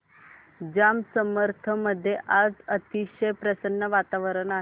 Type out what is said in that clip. जांब समर्थ मध्ये आज अतिशय प्रसन्न वातावरण आहे